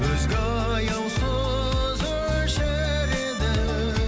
өзге аяусыз өшіреді